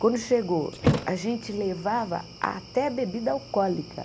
Quando chegou, a gente levava até bebida alcoólica.